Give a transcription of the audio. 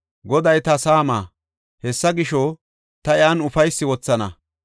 Goday ta saama; hessa gisho, ta iyan ufaysi wothana.